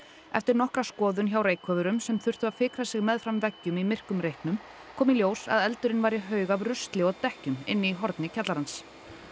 eftir nokkra skoðun hjá sem þurftu að fikra sig meðfram veggjum í myrkum reyknum kom í ljós að eldurinn var í haug af rusli og dekkjum inni horni kjallarans